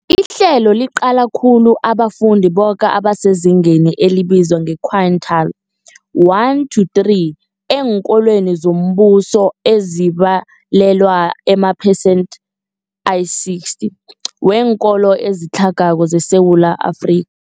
Ihlelo liqale khulu abafundi boke abasezingeni elibizwa nge-quintile 1-3 eenkolweni zombuso, ezibalelwa emaphesentheni ayi-60 weenkolo ezitlhagako zeSewula Afrika.